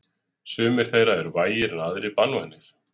Sumir þeirra eru vægir en aðrir banvænir.